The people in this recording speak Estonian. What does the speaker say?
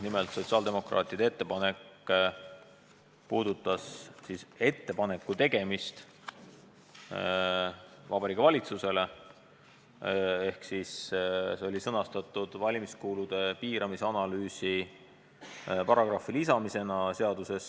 Nimelt puudutas sotsiaaldemokraatide ettepanek Vabariigi Valitsusele ettepaneku tegemist ja see oli sõnastatud valimiskulude piiramise analüüsi paragrahvi lisamisena seadusesse.